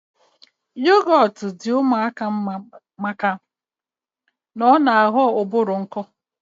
Yogọt di ụmụaka mma maka na ọ na aghọ ụbụrụ nkọ